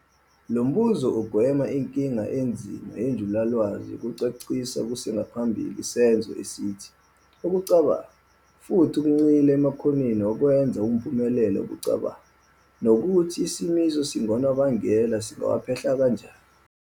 Lombuzo ugwema inkinga enzima yenjulalwazi yokuchasisa kusengaphambili isenzo esithi "ukucabanga" futhi ugxila emakhonweni wokwenza awumphumela wokucabanga, nokuthi isimiso esingunobangela singawaphehla kanjani.